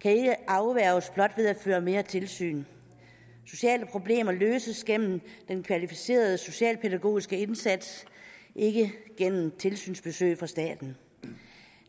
kan ikke afværges blot ved at der føres mere tilsyn sociale problemer løses gennem den kvalificerede socialpædagogiske indsats ikke gennem tilsynsbesøg fra staten